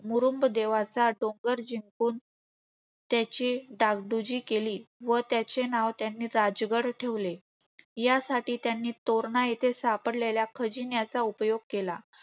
मोरुम्ब देवाचा डोंगर जिंकून, त्याचे डागडुजी केली व त्याचे नाव त्यांनी राजगड ठेवले. यासाठी त्यांनी तोरणा येथे सापडलेला खजिन्याचा उपयोग केला.